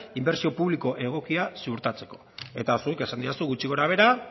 inbertsio publiko egokia suertatzeko eta zuk esan didazu gutxi gora behera